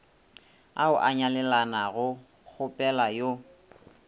ao a nyalelanago kgopela yo